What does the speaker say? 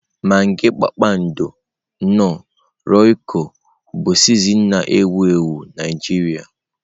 Magị Kpakpando, Knoọ, Roykọ bụ sịzịnin na-ewu ewu Najiria.